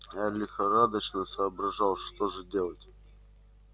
а я лихорадочно соображал что же делать